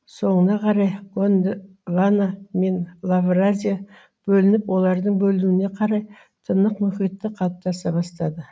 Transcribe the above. соңына қарай гондвана мен лавразия бөлініп олардың бөлінуіне қарай тынық мұхиты қалыптаса бастады